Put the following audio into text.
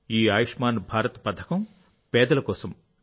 ఈ ఆయుష్మాన్ భారత్ పథకంపేదల కోసం